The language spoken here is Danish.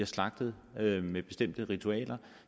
slagterier